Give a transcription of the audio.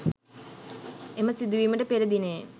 එම සිදුවීමට පෙර දිණයේ